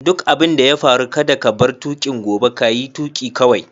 Duk abin da ya faru kada ka bar tukin gobe, ka yi tuki kawai!